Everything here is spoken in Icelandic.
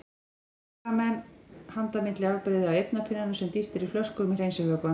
Hér hafa menn handa milli afbrigði af eyrnapinnum sem dýft er í flöskur með hreinsivökva.